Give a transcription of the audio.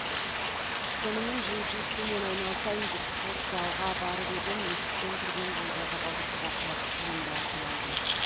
сонымен джиу джитсумен айналысайын деп спорт залға барып едім есіктен кірген бойда табалдырықта құлап қолымды ауыртып алдым